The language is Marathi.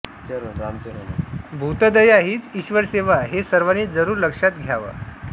भूतदया हीच ईश्वरसेवा हे सर्वांनी जरूर लक्षात घ्यावं